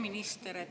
Hea minister!